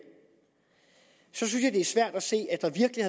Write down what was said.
synes det er svært at se at der virkelig